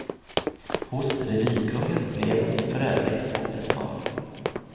Hos revykungen blev hon för övrigt åter smal.